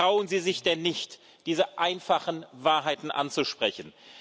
Trauen Sie sich denn nicht, diese einfachen Wahrheiten anzusprechen?